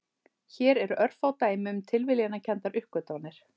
Hér eru örfá dæmi um tilviljanakenndar uppgötvanir.